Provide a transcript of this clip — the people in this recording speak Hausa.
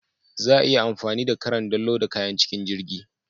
Za a yi amfani da cran don loda kayan cikin jirgin.